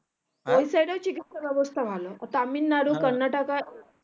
ওই side এর চিকিৎসা ব্যাবস্তা ভালো তামিলনাড়ু